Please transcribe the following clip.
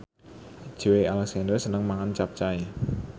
Joey Alexander seneng mangan capcay